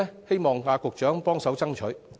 希望局長幫忙爭取。